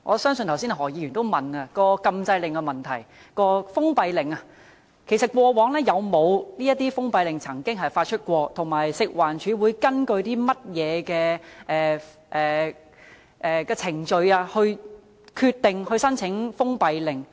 剛才何議員也問及封閉令的做法，我想問局長，過往曾否發出封閉令，以及食環署會根據甚麼程序決定申請封閉令？